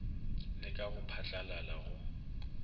le ka go phatlalala go